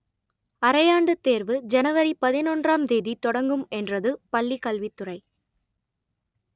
அரையாண்டுத் தேர்வு ஜனவரி பதினொன்றாம் தேதி தொடங்கும் என்றது பள்ளி கல்வித்துறை